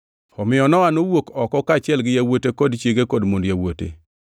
Omiyo Nowa nowuok oko, kaachiel gi yawuote kod chiege kod mond yawuote.